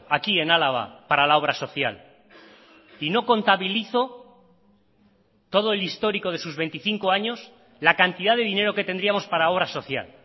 aquí en álava para la obra social y no contabilizo todo el histórico de sus veinticinco años la cantidad de dinero que tendríamos para obra social